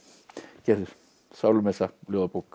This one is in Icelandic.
gerður sálumessa ljóðabók